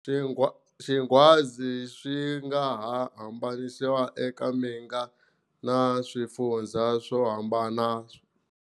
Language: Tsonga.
Xingwadza swi nga ha hambanisiwa eka minga na swifundzha swo hambana.